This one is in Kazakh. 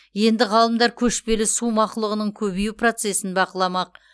енді ғалымдар көшпелі су мақұлығының көбею процесін бақыламақ